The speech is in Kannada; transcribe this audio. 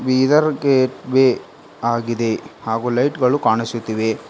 ಬೀದರ್ ಗೇಟ್ ವೆ ಆಗಿದೆ ಹಾಗೂ ಲೈಟ್ ಗಳು ಕಾಣಿಸುತ್ತಿವೆ.